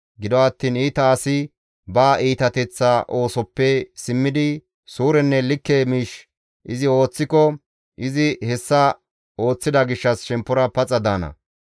Gido attiin iita asi ba iitateththa oosoppe simmidi suurenne likke miish izi ooththiko, izi hessa ooththida gishshas shemppora paxa daana.